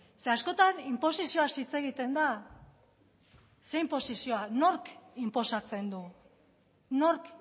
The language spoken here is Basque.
ze askotan inposizioaz hitz egiten da ze inposizioa nork inposatzen du nork